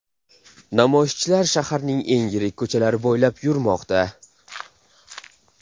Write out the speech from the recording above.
Namoyishchilar shaharning eng yirik ko‘chalari bo‘ylab yurmoqda.